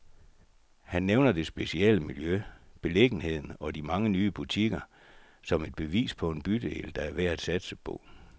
Han nævner det specielle miljø, beliggenheden og de mange nye butikker, som et bevis på en bydel, der er værd at satse på.